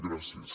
gràcies